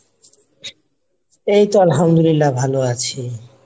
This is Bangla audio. এইতো আলহামদুলিল্লাহ ভালো আছি।